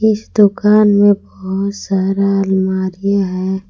इस दुकान में बहुत सारा अलमारी है।